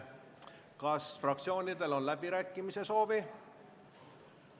Kas fraktsioonidel on läbirääkimiste soovi?